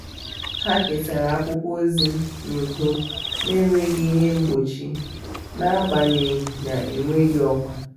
ha kesara akwụkwọ ozi n’udo n'enweghị ihe mgbochi n’agbanyeghị na enweghị ọkwa.